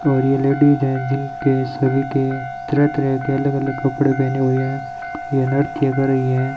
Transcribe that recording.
और ये लेडीज जिनके सभी के तरह तरह के अलग अलग कपड़े पहने हुए है ये नृत्य कर रही है।